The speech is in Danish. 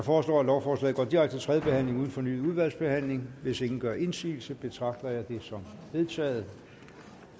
foreslår at lovforslaget går direkte til tredje behandling uden fornyet udvalgsbehandling hvis ingen gør indsigelse betragter jeg det som vedtaget